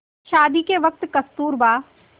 शादी के वक़्त कस्तूरबा